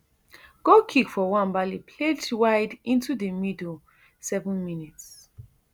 goal kick for nwabali played wide into di middle seven mins